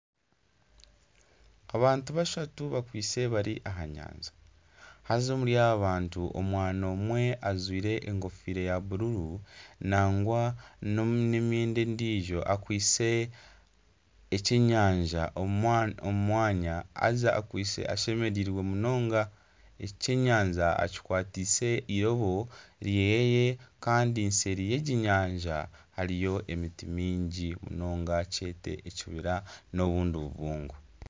Abantu bashatu bakwitse bari aha nyanja haza omuri abo bantu omwana omwe ajwaire enkofira ya bururu nangwa na emyenda endijo akwitse ekyenyanja omu mwanya haza akwitse ashemereirwe munonga ekyenyanja akikwatise irobo ryeye kandi sayidi yegi enyanja hariyo na emiti myingi munonga nkyete ekibira na obundi bubungo.